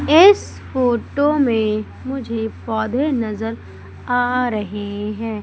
इस फोटो में मुझे पौधे नजर आ रहे हैं।